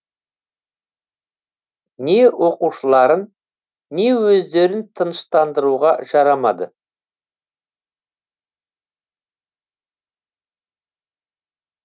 не оқушыларын не өздерін тыныштандыруға жарамады